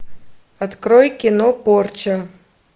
открой кино порча